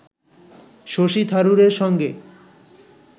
শশী থারুরের সঙ্গে